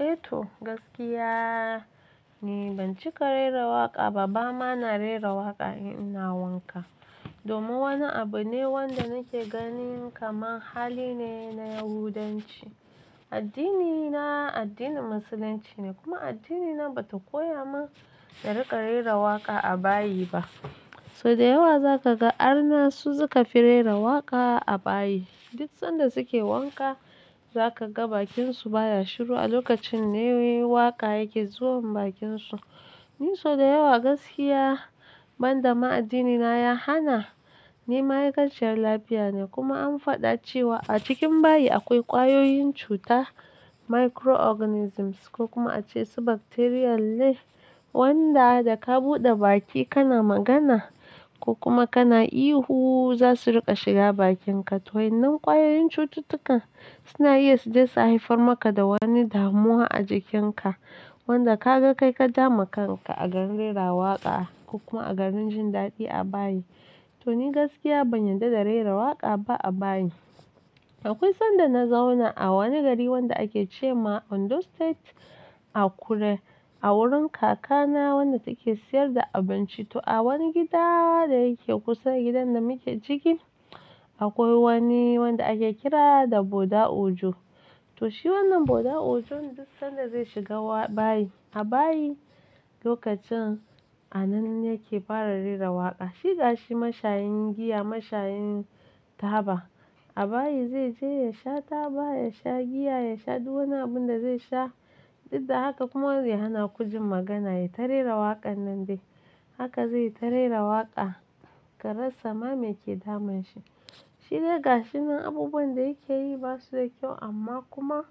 Eh to, gaskiya ni ban cika rera waƙa ba, ba na rera waƙa idan ina wanka. Domin wani abu ne wanda nake gani kamar hali ne na Yahudanci. Addinina addinin Musulunci ne kuma addinina bai koya min rera waƙa a bayi ba. So da yawa za ka ga arna su suka fi rera waƙa a bayi. Duk lokacin da suke wanka za ka ga bakin su baya shiru a lokacin ne waƙa take zuwa bakinsu. Ni so da yawa gaskiya ban da ma addinina ya hana, ni ma'aikaciyar lafiya ne kuma an faɗa cewa a cikin bayi akwai ƙwayoyin cuta microorganisms ko kuma a ce su ƙwayoyin cuta ne wanda da ka buɗe baki kana magana ko kuma kana ihu za su riƙa shiga bakinka. Waɗannan ƙwayoyin cuta suna iya su je su haifar maka da wata damuwa a jikinka wanda ka ga kai ka jawo wa kanka a dalilin rera waƙa ko kuma a adalilin jin daɗi a bayi. To ni gaskiya ban yarda da rera waƙa ba a bayi. Akwai lokacin da na zauna a wani gari wanda ake cewa Ondo State a kure a wurin kakana wadda take sayar da abinci. To a wani gida da yake kusa da gidan da muke ciki akwai wani wanda ake kira da Boda Ojo. To shi wannan Boda Ojo duk sanda zai shiga bayi a bayi lokacin a nan yake fara rera waƙa. Shiga shi mashayin giya, mashayin taba. A bayi zai je ya sha taba, ya sha giya, ya sha duk wani abun da zai sha duk da haka kuma ya hana ku jin magana yayi ta rera waƙar nan dai. Haka zai yi ta rera waƙa ka rasa ma mai ke damun sa. Shi dai ga shi nan abubuwan da yake yi ba su da kyau amma kuma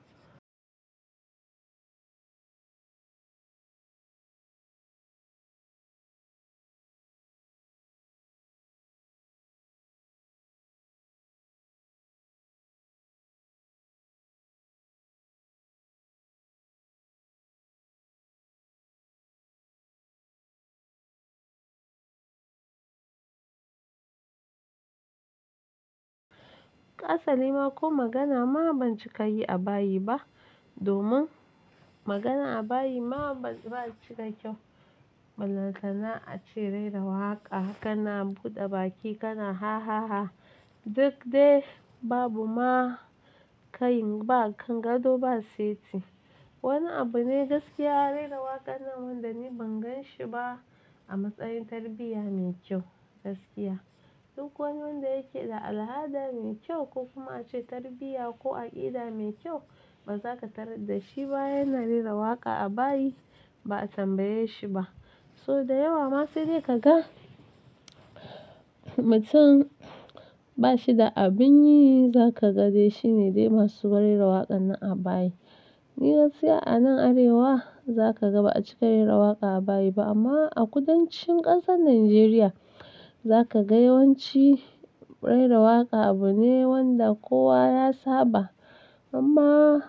hasalima ko magana ma ban cika yi a bayi ba domin magana a bayi ma ba shi da kyau. Balantana ace rera waƙa kana buɗe baki kana hahaha. Duk dai babu ma ka yin ba gado ba seti. Shi dai gashi nan abubuwan da yake yi ba su da kyau amma kuma Duk wani wanda yake da al'ada mai kyau ko kuma ace tarbiyya ko aƙida mai kyau ba za ka tarar da shi yana rera waƙa a bayi ba a tambaye shi ba. So da yawa ma sai dai ka ga mutum ba shi da abin yi za ka ga dai shi ne dai masu rera waƙar nan a bayi. Ni gaskiya a nan Arewa za ka ga ba a cika rera waƙa a bayi ba amma a kudancin ƙasar Nijeriya za ka ga yawanci rera waƙa abu ne wanda kowa ya saba amma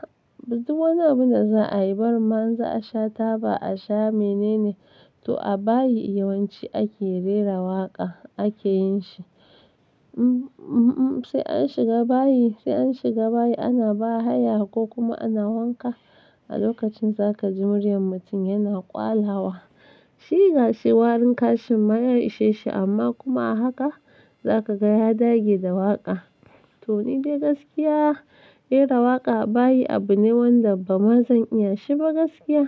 duk wani abu da za a yi ba ma in za a sha taba a sha menene. To a bayi yawanci ake rera waƙa ake yin shi. Sai an shiga bayi, sai an shiga bayi ana bahaya ko kuma ana wanka a lokacin za ka ji muryar mutum yana ƙwalawa. Shi ga shi warin kashin ma ya ishe shi amma kuma a haka za ka ga ya dage da waƙa. To ni dai gaskiya rera waƙa a bayi abu ne wanda ba zan iya shi ba gaskiya.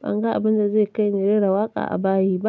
Ban ga abun da zai kai ni rera waƙa a bayi ba.